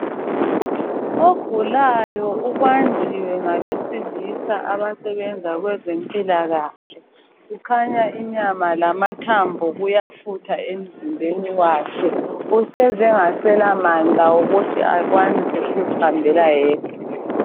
Ogulayo ubanjiwe ngabesilisa abasebenza kwezempilakahle. Kukhanya inyama lamathambo kuyafutha emzimbeni wakhe. Usezengaselamandla wokuthi akwanise ukuzihambela yedwa.